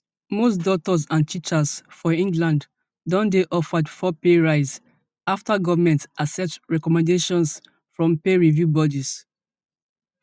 most doctors and teachers for england don dey offered four pay rise after government accept recommendations from pay review bodies